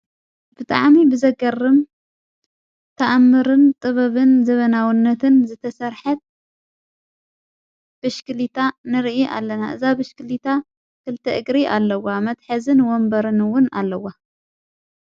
ብጥዓሚ ብዘገርም ተኣምርን ጥበብን ዘበናውነትን ዝተሠርሐት ብሽክሊታ ንርኢ ኣለና እዛ ብሽክሊታ ክልተ እግሪ ኣለዋ መትሐዝን ወንበርንውን ኣለዋ።